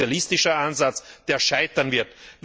Das ist ein sozialistischer Ansatz, der scheitern wird.